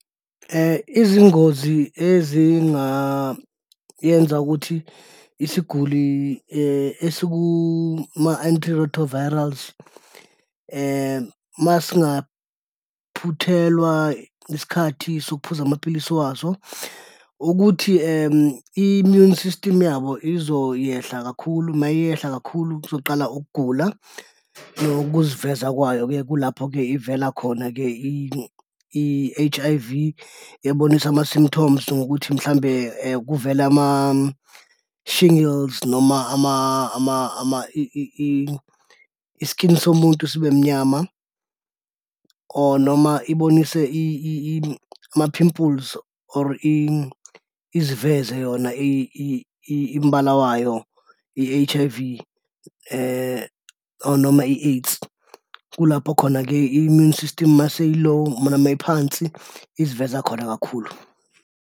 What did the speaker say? Izingozi ezingayenza ukuthi isiguli esukuma-antiretrovirals masingaphuthelwa isikhathi sokuphuza amapilisi waso, ukuthi i-immune system yabo izoyehla kakhulu, mayehla kakhulu kuzoqala ukugula nokuziveza kwayo, kulapho-ke ivela khona-ke i-H_I_V, iyabonisa ama-symptoms ngokuthi mhlawumbe kuvele ama-shingles noma i-skin somuntu sibemnyama or noma ibonise ama-pimples or iziveze yona imbala wayo, i-H_I_V or noma i-AIDS. Kulapho khona-ke, i-mmune system uma seyi-low noma iphansi iziveza khona kakhulu.